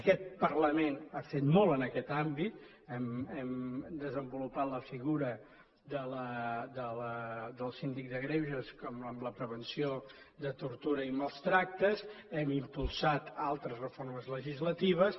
aquest parlament ha fet molt en aquest àmbit hem desenvolupat la figura del síndic de greuges en la prevenció de tortura i mals tractes hem impulsat altres reformes legislatives